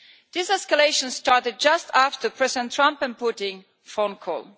This escalation started just after President Trump's and Putin's phone call.